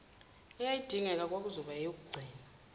eyayidingeka kwakuzoba ngeyokugcina